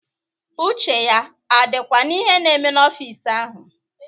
Uche ya adịkwa n'ihe na-eme n'ọfịs ahụ?